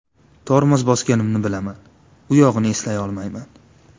Tormoz bosganimni bilaman, u yog‘ini eslay olmayman.